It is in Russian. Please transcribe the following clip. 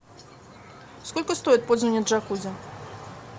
сколько стоит пользование джакузи